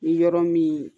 Ni yɔrɔ min